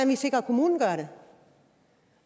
vi sikrer at kommunen gør det